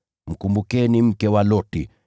Mkumbukeni mke wa Loti!